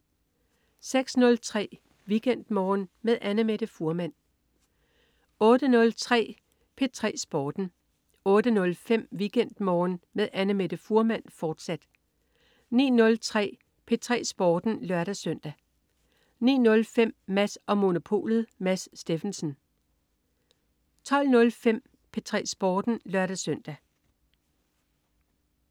06.03 WeekendMorgen med Annamette Fuhrmann 08.03 P3 Sporten 08.05 WeekendMorgen med Annamette Fuhrmann, fortsat 09.03 P3 Sporten (lør-søn) 09.05 Mads & Monopolet. Mads Steffensen 12.05 P3 Sporten (lør-søn)